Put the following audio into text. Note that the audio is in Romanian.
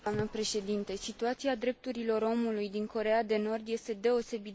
Situația drepturilor omului din Coreea de Nord este deosebit de gravă.